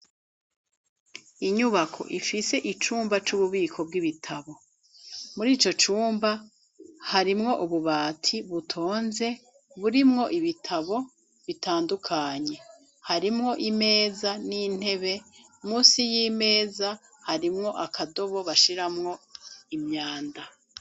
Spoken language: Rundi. Inyubako ifise icumba c'ububiko bw'ibitabo. Mur'ico cumba, harimwo ububati butonze burimwo ibitabo bitandukanye. Harimwo imeza n'intebe, munsi y'imeza, harimwo akadobo bashiramwo imyanda.